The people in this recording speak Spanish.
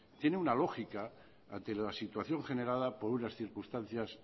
tiene una lógica ante la situación generada por unas circunstancias